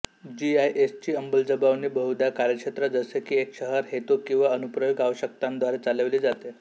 जीआयएसची अंमलबजावणी बहुधा कार्यक्षेत्र जसे की एक शहर हेतू किंवा अनुप्रयोग आवश्यकतांद्वारे चालविली जाते